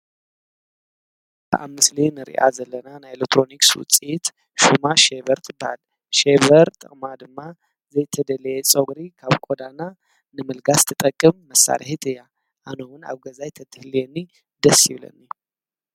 እብዚ ምስሊ እኒርኣ ዘለና ናይ ኤሌክትሮኒክስ ዉፅኢት ሸበር ትባሃል ። ሽበር ጥቅማ ድማ ዘይተደለይ ፀጉረ ካብ ቆዳና ንምልጋስ ትጠቅም መሳርሕት እያ፡፡ ኣነ እዉን ኣብ ገዛይ እንተትህልወኒ ደሰ ይበለኒ፡፡